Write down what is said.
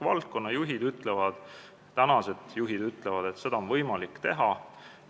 Valdkonna tänased juhid ütlevad, et seda on võimalik teha.